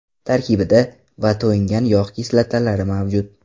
Tarkibida : va to‘yingan yog‘ kislotalari mavjud.